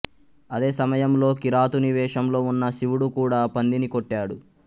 అదే సమయంలో కిరాతుని వేషంలో ఉన్న శివుడు కూడా పందిని కొట్టాడు